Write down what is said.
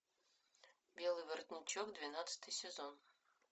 белый воротничок двенадцатый сезон